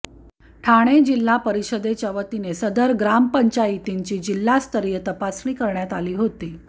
ठाणे जिल्हा परिषदेच्या वतीने सदर ग्राम पंचायतींची जिल्हास्तरीय तपासणी करण्यात आली होती